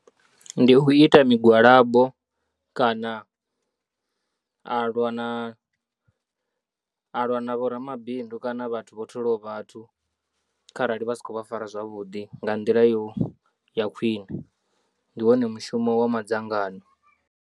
Ndi u ita migwalabo kana a lwa na, a lwa na vhoramabindu kana vhathu vho tholaho vhathu kharali vha si khou vha fara zwavhuḓi nga nḓila yo ya khwine ndi wone mushumo wa madzangano.